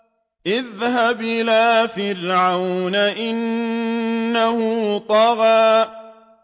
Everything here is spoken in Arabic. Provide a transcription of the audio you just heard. اذْهَبْ إِلَىٰ فِرْعَوْنَ إِنَّهُ طَغَىٰ